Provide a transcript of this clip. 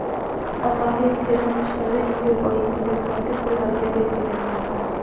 Ommaviy terim ishlari iyul oyining dastlabki kunlariga belgilangan.